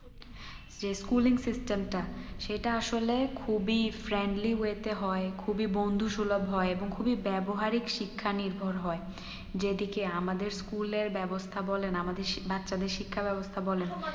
যে schooling system টা সেটা আসলে খুবই friendly way তে হয় খুবই বন্ধু সুলভ হয় এবং খুবই ব্যবহারই শিক্ষা নির্ভর হয় যেদিকে আমাদের school এর ব্যবস্থা বলেন আমাদের বাচ্চাদে শিক্ষা ব্যবস্থা বলেন